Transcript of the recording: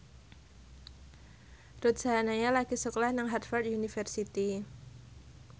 Ruth Sahanaya lagi sekolah nang Harvard university